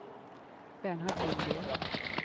Bernhard Lundgren